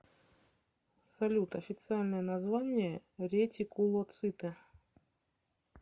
салют официальное название ретикулоциты